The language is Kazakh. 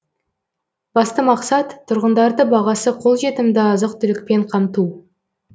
басты мақсат тұрғындарды бағасы қолжетімді азық түлікпен қамту